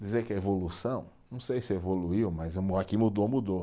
Dizer que é evolução, não sei se evoluiu, mas que mudou, mudou.